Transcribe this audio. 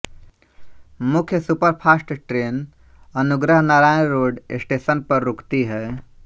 मुख्य superfast train Anugrah Narayan road station पर रुकती है